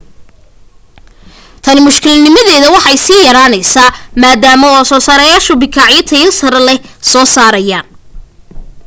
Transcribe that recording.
tani mushkiladnimadeedii way sii yaraanaysaa maadaama soo saarayaashu bikaacyo tayo sare leh soo saarayaan